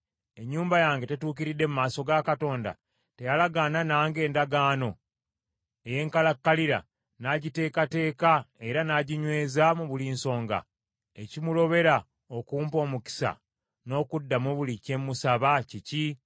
Ennyumba yange tetuukiridde mu maaso ga Katonda? Teyalagaana nange endagaano ey’enkalakkalira, n’agiteekateeka era n’aginyweza mu buli nsonga? Ekimulobera okumpa omukisa, n’okuddamu buli kye mmusaba, kiki?